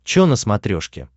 чо на смотрешке